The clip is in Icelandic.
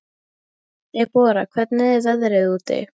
Debora, hvernig er veðrið úti?